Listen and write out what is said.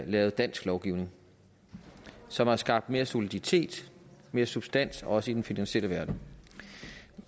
lavet dansk lovgivning som har skabt mere soliditet mere substans også i den finansielle verden